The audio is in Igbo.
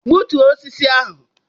Bụtuo osisi ahụ!